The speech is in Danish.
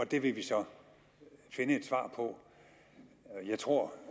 det vil vi så finde et svar på jeg tror